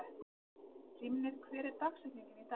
Hrímnir, hver er dagsetningin í dag?